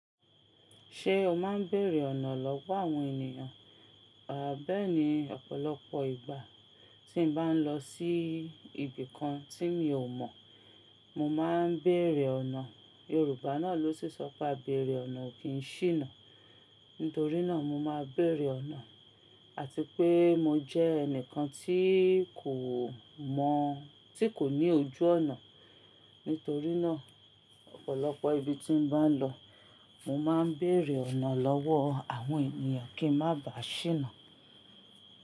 Ṣé o máa ń bèèrè ọ̀nà lọ́wọ́ àwọn ènìyàn? A bẹ́ẹ̀ni, ọ̀pọ̀lọpọ̀ ìgbà tí n bá ń lọ sí ibì kan tí mi ò mọ̀, mo máa ń bèèrè ọ̀nà. Yorùbá náà ló sísọ pé "Àbèrè ọ̀nà ò kí ń ṣíná" nítorí náà mo máa ń bèèrè ọ̀nà, àti pé mo jẹ́ ẹnìkan tí kò mọ̀, tí kò ní ojú ọ̀nà. Nítorí náà, ọ̀pọ̀lọpọ̀ ibi tí n bá ń lọ, mo máa ń bèèrè ọ̀nà lọ́wọ́ àwọn ènìyàn kí n má bàá ṣíná.